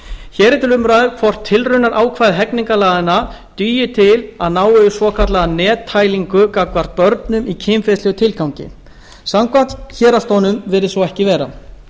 hér er til umræðu hvort tilraunaákvæði hegningarlaganna dugi til að ná yfir svokallaða nettælingu gagnvart börnum í kynferðislegum tilgangi samkvæmt héraðsdómnum virðist svo ekki vera